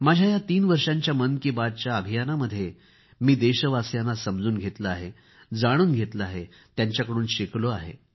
माझ्या या तीन वर्षांच्या मन की बातच्या अभियानामध्ये मी देशवासियांना समजून घेतले आहे जाणून घेतले त्यांच्याकडून शिकलो आहे